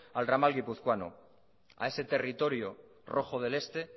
al ramal guipuzcoano a ese territorio rojo del este